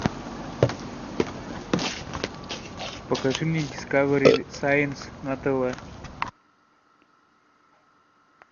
покажи мне дискавери сайнс на тв